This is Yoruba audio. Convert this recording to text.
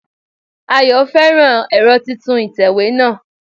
Ayọ̀ féràn ẹ̀rọ titun ìtẹ̀wé náà